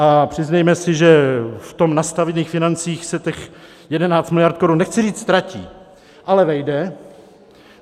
A přiznejme si, že v těch nastavených financích se těch 11 miliard korun nechci říct ztratí, ale vejde.